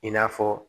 I n'a fɔ